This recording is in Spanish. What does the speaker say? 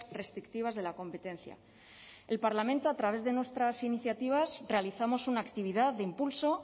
restrictivas de la competencia el parlamento a través de nuestras iniciativas realizamos una actividad de impulso